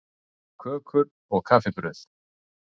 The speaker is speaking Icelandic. KÖKUR OG KAFFIBRAUÐ